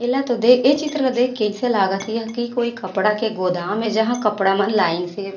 एला तोह दे-- ये चित्र ला देख के अइसे लागत हे की कोई कपड़ा के गोदाम हे जहाँ कपड़ा मन लाइन से। --